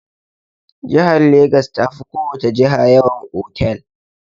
Jihar Legas ta fi ko wace jiha yawan otal.